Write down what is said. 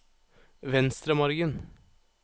Venstremargen